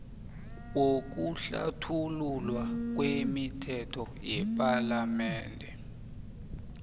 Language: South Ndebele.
wokuhlathululwa kwemithetho yepalamende